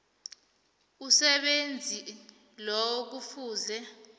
umsebenzi loyo kufuze